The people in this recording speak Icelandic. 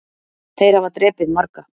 Þeir hafa drepið marga